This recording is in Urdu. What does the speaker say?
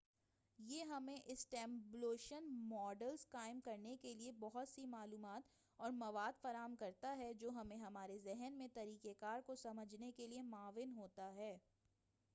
یہ ہمیں اسٹیمولیشن ماڈلز قائم کرنے کیلئے بہت سی معلومات اور مواد فراہم کرتا ہے جو ہمیں ہمارے ذہن میں طریقہ کار کو سمجھنے کے لئے معاون ہوتا ہے